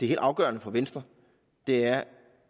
helt afgørende for venstre er